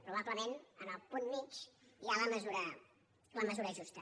probablement en el punt mitjà hi ha la mesura justa